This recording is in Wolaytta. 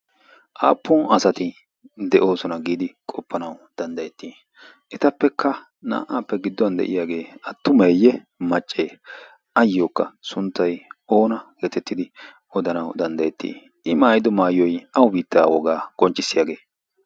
Aappun asati de'oosona giidi qopanaw danddayeti? Etappekka naa"appe gidduwan de'iyaage attumeye? Maccee? ayyokka sunttay oona getettidi odanawu danddayeti I maayyido maayoy awu biittaa woga qonccissiyaage?